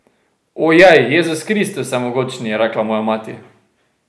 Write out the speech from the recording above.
Ojej, Jezus Kristus vsemogočni, je rekla moja mati.